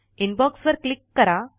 inbox वर click करा